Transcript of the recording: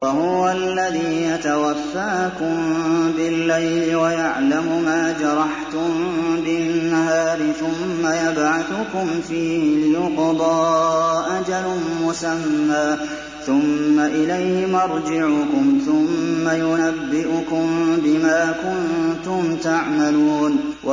وَهُوَ الَّذِي يَتَوَفَّاكُم بِاللَّيْلِ وَيَعْلَمُ مَا جَرَحْتُم بِالنَّهَارِ ثُمَّ يَبْعَثُكُمْ فِيهِ لِيُقْضَىٰ أَجَلٌ مُّسَمًّى ۖ ثُمَّ إِلَيْهِ مَرْجِعُكُمْ ثُمَّ يُنَبِّئُكُم بِمَا كُنتُمْ تَعْمَلُونَ